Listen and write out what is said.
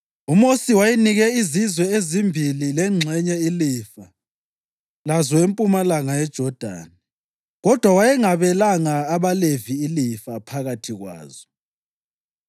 UMosi wayenike izizwe ezimbili lengxenye ilifa lazo empumalanga yeJodani, kodwa wayengabelanga abaLevi ilifa phakathi kwazo,